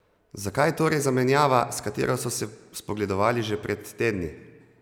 Zakaj torej zamenjava, s katero so se spogledovali že pred tedni?